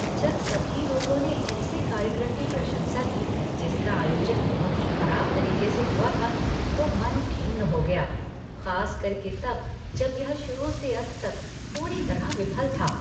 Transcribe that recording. जब सभी लोगों ने ऐसे कार्यक्रम की प्रशंसा की जिसका आयोजन बहुत ही खराब तरीके से हुआ था तो मन खिन्न हो गया, खास करके तब जब यह शुरू से अंत तक पूरी तरह विफल था।